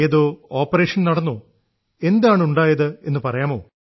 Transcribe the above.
ഏതോ ഓപ്പറേഷൻ നടന്നോ എന്താണുണ്ടായതെന്ന് പറയാമോ